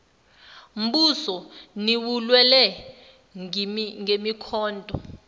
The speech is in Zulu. mbuso niwulwele ngemikhonto